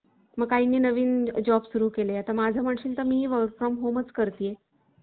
मग काहींनी नवीन job सुरू केले. आता माझं म्हणशील तर मी work fom home करते.